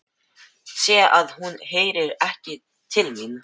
Sé að hún heyrir ekki til mín.